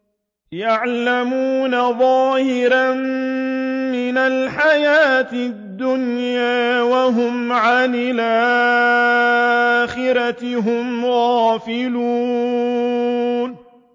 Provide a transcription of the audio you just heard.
يَعْلَمُونَ ظَاهِرًا مِّنَ الْحَيَاةِ الدُّنْيَا وَهُمْ عَنِ الْآخِرَةِ هُمْ غَافِلُونَ